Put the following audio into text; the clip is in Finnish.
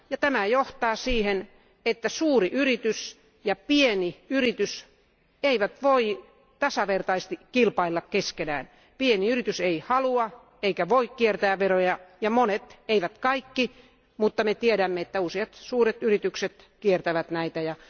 Tämä johtaa siihen, että suuri yritys ja pieni yritys eivät voi tasavertaisesti kilpailla keskenään. Pieni yritys ei halua eikä voi kiertää veroja, mutta monet, eivät kaikki, mutta useat suuret yritykset kiertävät veroja.